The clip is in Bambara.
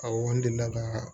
Awɔ n delila ka